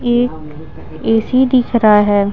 ये A _C दिख रहा है।